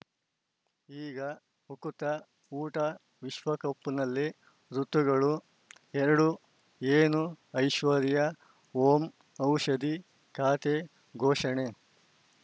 ಈಗ ಉಕುತ ಊಟ ವಿಶ್ವಕಪ್‌ನಲ್ಲಿ ಋತುಗಳು ಎರಡು ಏನು ಐಶ್ವರ್ಯಾ ಓಂ ಔಷಧಿ ಖಾತೆ ಘೋಷಣೆ